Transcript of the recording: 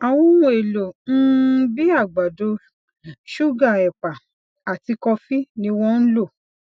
àwọn ohun èlò um bíi àgbàdo ṣúgà èpà àti kọfí ni wón ń lò